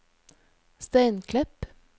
Steinklepp